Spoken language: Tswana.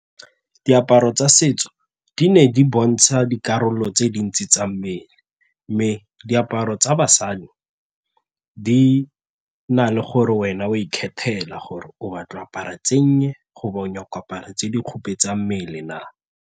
Diaparo tsa setso di ne di bontsha dikarolo tse dintsi tsa mmele mme diaparo tsa basadi di na le gore wena o a ikgethela gore o batla apara tse nnye or o nyaka go apara tse di khupetsang mmele na.